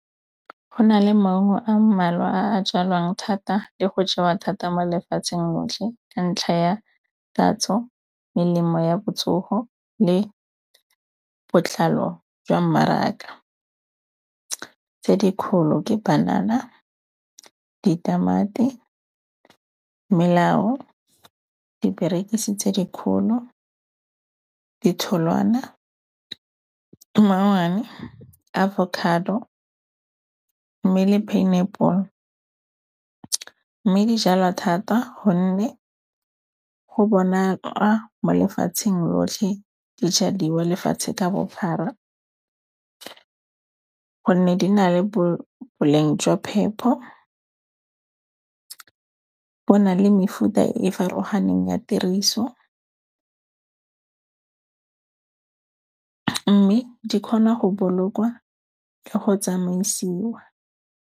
Go na le maungo a mmalwa a a jalwang thata le go jewa thata mo lefatsheng lotlhe ka ntlha ya tatso, melemo ya botsogo le botlhalo jwa mmaraka. Tse dikgolo ke banana, ditamati, melao, diperekisi tse dikgolo, ditholwana, mmangwane, avocado mme le pineapple. Mme di jalwa thata gonne go bonala mo lefatsheng lotlhe di jadiwa lefatshe ka bophara gonne di na le boleng jwa phepho. Bo na le mefuta e farologaneng ya tiriso, mme di kgona go bolokwa le go tsamaisiwa.